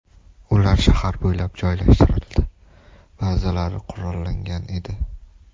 Ular shahar bo‘ylab joylashtirildi, ba’zilari qurollangan edi.